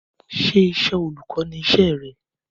Ṣé iṣẹ́ olùkọ́ ni iṣẹ́ re